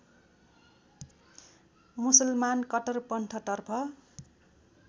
मुसलमान कट्टरपन्थ तर्फ